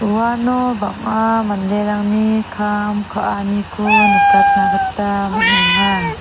uano bang·a manderangni kam ka·aniko nikatna gita man·enga.